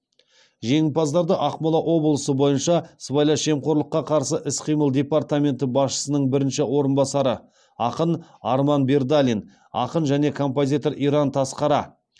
жеңімпаздарды ақмола облысы бойынша сыбайлас жемқорлыққа қарсы іс қимыл департаменті басшысының бірінші орынбасары ақын арман бердалин ақын және композитор иран тасқара